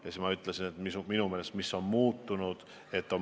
Ja ma ütlesin, et minu meelest on suhtumine muutunud.